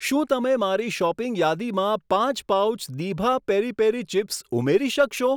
શું તમે મારી શોપિંગ યાદીમાં પાંચ પાઉચ દીભા પેરી પેરી ચિપ્સ ઉમેરી શકશો?